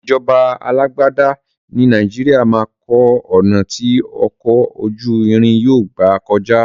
Ìṣèjọba alágbádá ní Nàìjíríà máa kọ́ ọ̀nà ti ọkọ̀ ojú irin yóò gbà kọjá.